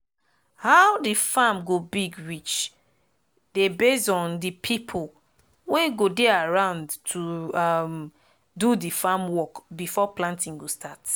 how de farm go big reach dey base on de pipo wey go dey around to um do de farm work before planting go start